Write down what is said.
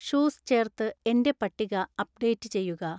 shoes ചേർത്ത് എൻ്റെ പട്ടിക അപ്ഡേറ്റ് ചെയ്യുക